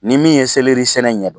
Ni min ye sɛnɛ ɲɛdɔn